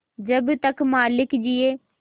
जब तक मालिक जिये